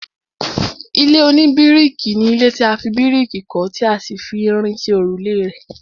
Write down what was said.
ilé oníbíríkì ni ilé tí a fi bíríkì kọ́ tí a sì fi irin ṣe òrùlé rẹ̀